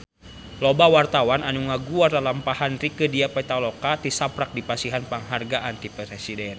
Loba wartawan anu ngaguar lalampahan Rieke Diah Pitaloka tisaprak dipasihan panghargaan ti Presiden